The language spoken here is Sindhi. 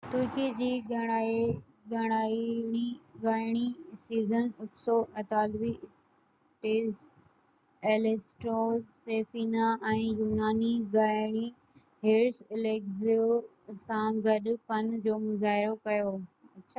ترڪي جي ڳائڻي سيزين اڪسو اطالوي ٽينر ايليسنڊرو سفينا ۽ يوناني ڳائڻي هيرس اليگزيو سان گڏ فن جو مظاهرو ڪيو